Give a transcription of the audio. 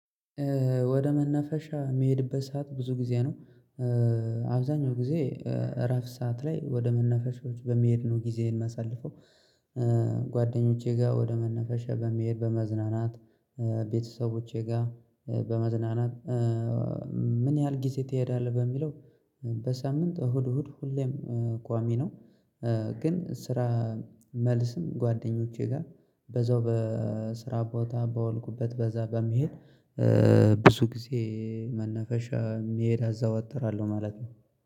ወደ መነፈሻ የሚሄድበት ሰዓት ብዙ ጊዜ ነው። አብዛኛው ጊዜ እረፍት ሰዓት ላይ ወደ መነፈሻዎች በመሄድ ነው ጊዜዬን መሰልፈው። ጓደኞቼ ጋር ወደ መነፈሻ በመሄድ በመዝናናት ቤተሰቦቼ ጋር በመዝናናት። ምን ያህል ጊዜ ትሄዳለህ በሚለው? በሳምንት እሁድ እሁድ ሁሌም ቋሚ ነው። ግን ስራ መልስም ጓደኞቼ ጋር በዛው በስራ ቦታ ባወልኩበት በዛ በመሄድ። ብዙ ጊዜ መነፈሻ የሚሄድ አዘዋትራለሁ ማለት ነው